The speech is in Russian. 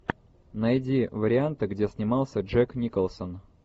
найди варианты где снимался джек николсон